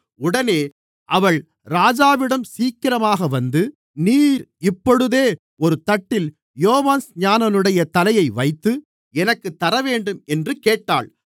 உடனே அவள் ராஜாவிடம் சீக்கிரமாக வந்து நீர் இப்பொழுதே ஒரு தட்டில் யோவான்ஸ்நானனுடைய தலையை வைத்து எனக்குத் தரவேண்டும் என்று கேட்டாள்